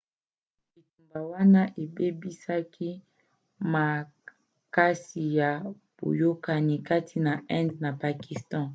bitumba wana ebebisaki makasi boyakani kati na inde na pakistan